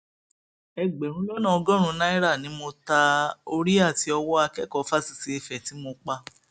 ẹgbẹrún lọnà ọgọrùnún náírà ni mo ta orí àti owó akẹkọọ fásitì ife tí mo pa